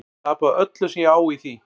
Tapa öllu sem ég á í því.